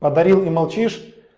подарил и молчишь